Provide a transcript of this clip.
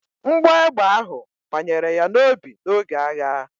Mgbọ egbe ahụ banyere ya n'obi n'oge agha